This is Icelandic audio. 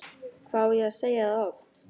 Hvað á ég að segja það oft?!